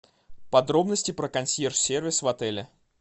подробности про консьерж сервис в отеле